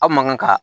Aw man kan ka